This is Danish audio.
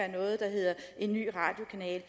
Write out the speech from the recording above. noget der hedder en ny radiokanal